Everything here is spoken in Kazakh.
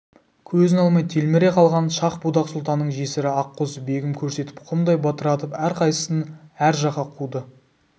көзін алмай телміре қалған шах-будақ сұлтанның жесірі аққозы-бегім көрсетіп құмдай бытыратып әрқайсысын әр жаққа қуды